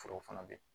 Forow fana bɛ yen